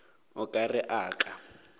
o ka re a ka